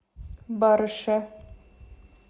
барыше